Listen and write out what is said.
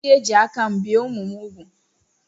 M ga-eji aka mbìe ụmụ m úgwù